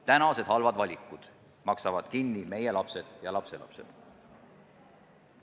Tänased halvad valikud maksavad kinni meie lapsed ja lapselapsed.